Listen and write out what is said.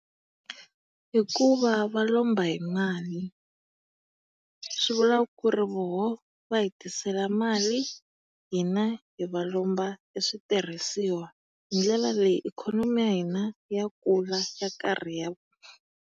Hikuva va lomba hi mali, swivula ku ri voho va hi tisela mali, hina hi va lomba e switirhisiwa. Hi ndlela leyi ikhonomi ya hina ya kula ya karhi ya.